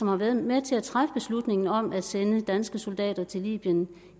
har været med til at træffe beslutningen om at sende danske soldater til libyen